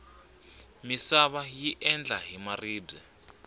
misava yi endla hi maribye